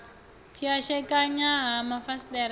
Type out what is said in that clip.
pwashekana ha mafasiṱere na u